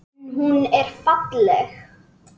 En hún er falleg.